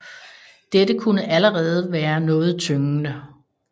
Dette kunne allerede være noget tyngende